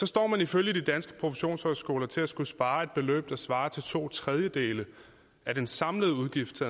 står man ifølge de danske professionshøjskoler til at skulle spare et beløb der svarer til to tredjedele af den samlede udgift til